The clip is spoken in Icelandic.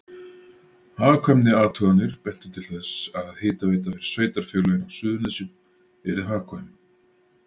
Hagkvæmniathuganir bentu til þess að hitaveita fyrir sveitarfélögin á Suðurnesjum yrði hagkvæm.